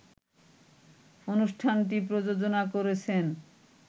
অনুষ্ঠানটি প্রযোজনা করেছেন